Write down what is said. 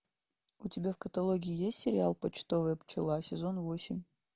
у тебя в каталоге есть сериал почтовая пчела сезон восемь